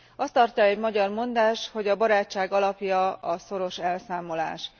Azt tartja egy magyar mondás, hogy a barátság alapja a szoros elszámolás.